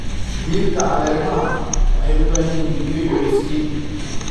Dhirta caleemaha waxay u baahan yihiin biyo iyo iftiin.